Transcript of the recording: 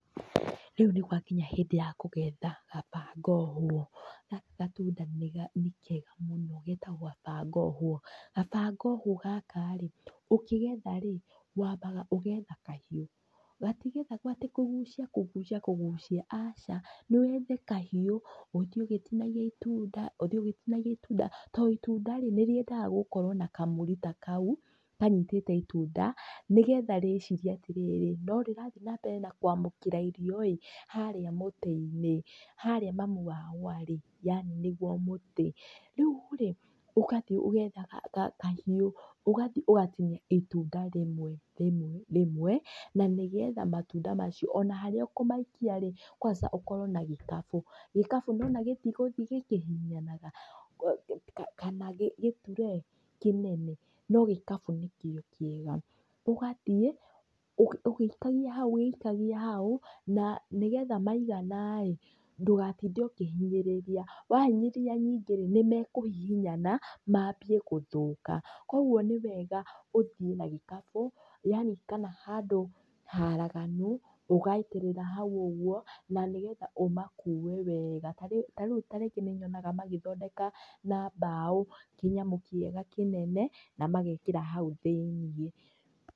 Rĩu nĩ gwakinya hĩndĩ ya kũgetha, kaba ngohwo. Gaka gatunda nĩ kega mũno getagwo kaba ngohwo. Kaba ngohwo gaka rĩ, ũkĩgetha rĩ, wambaga ũgetha kahiũ, gatigethagwo atĩ kũgucia kũgucia kũgicia, aca, nĩ wethe kahiu, ũthie ũgĩtinagia itunda, ũthie ũgĩtinagia itunda, to itunda rĩ, nĩ rĩendaga gũkorwo na kamũrita kau kanyitĩte itunda, nĩgetha rĩcirie atĩrirĩ, no rĩrathiĩ na mbere na kwamũkĩra irio ĩ, harĩa mũtĩ-inĩ. Harĩa mamu wao arĩ, yani nĩguo mũtĩ. Rĩu rĩ, ũgathiĩ ũgetha kahiũ, ũgathiĩ ũgatinia itunda rĩmwe rĩmwe rĩmwe, na nĩgetha matunda macio ona harĩa ũkũmaikia rĩ, kwanza ũkorwo na gĩkabu. Gĩkabu nĩ wona gĩtigũthiĩ gĩkĩhihinyanaga, kana gĩturee, kĩnene, no gĩkabu nĩkio kĩega. Ũgathiĩ, ũgĩ ikagia hau, ũgĩ ikagia hau, na nĩgetha maigana ĩ, ndũgatinde ũkĩhinyĩrĩria. Wahinyĩrĩria ningĩ rĩ, nĩ mekũhihinyana mambie gũthũka. Kogwo nĩ wega ũthiĩ na gĩkabu, yani kana handũ haraganu ũgaitĩrĩra hau ũguo, na nĩgetha ũmakue wega. Ta rĩu, ta rĩu ta rĩngĩ nĩ nyonaga magĩthondeka na mbaũ kĩnyamũ kĩega kĩnene na magekĩra hau thĩiniĩ.